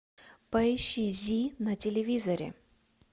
поищи зи на телевизоре